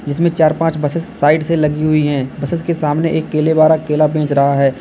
इसमें चार पांच बसेस साइड से लगी हुई है बसेस के सामने एक केले वाला केला बेच रहा है।